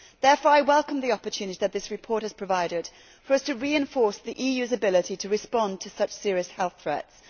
Therefore I welcome the opportunity that this report has provided for us to reinforce the EU's ability to respond to such serious health threats.